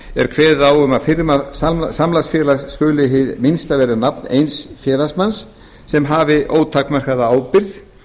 er kveðið á um að firma samlagsfélags skuli hið minnsta vera nafn eins félagsmanns sem hafi ótakmarkaða ábyrgð